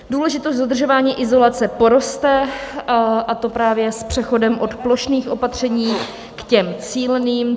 Důležitost dodržování izolace poroste, a to právě s přechodem od plošných opatření k těm cíleným.